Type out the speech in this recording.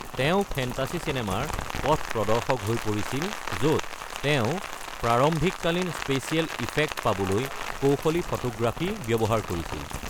তেওঁ ফেণ্টাচি চিনেমাৰ পথ প্ৰদৰ্শক হৈ পৰিছিল য’ত তেওঁ প্ৰাৰম্ভিককালীন স্পেচিয়েল ইফেক্ট পাবলৈ কৌশলী ফটোগ্ৰাফী ব্যৱহাৰ কৰিছিল।